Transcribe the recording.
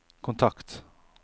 kontakt